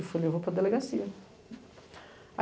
Eu falei, eu vou para delegacia.